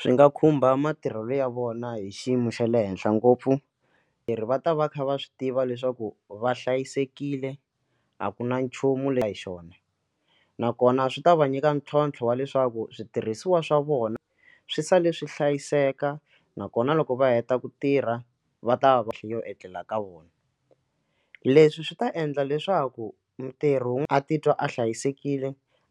Swi nga khumba matirhelo ya vona hi xiyimo xa le henhla ngopfu leri va ta va kha va swi tiva leswaku va hlayisekile a ku na nchumu leya hi xona nakona swi ta va nyika ntlhontlho wa leswaku switirhisiwa swa vona swi sale swi hlayiseka nakona loko va heta ku tirha va ta va va yo etlela ka vona leswi swi ta endla leswaku ntirho wun'we a titwa a hlayisekile